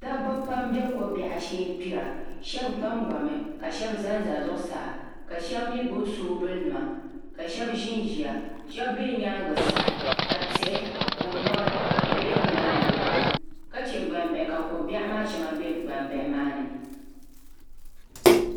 Dabba pam n bɛ ko biɛɣu shee n gbira shab gbangbami ka shab ʒɛ zuɣusaa ka shab mii gbubi soobuli nima ka shab ʒinʒiya shab bɛ nyaangi sa ka tihi ni mori di biɛla nimaani ka chɛ gbambihi ka ko biɛɣu maa shɛŋa bɛ gnambili maa ni